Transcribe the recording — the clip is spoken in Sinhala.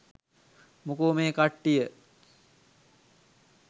මොකෝ මේ කට්ටිය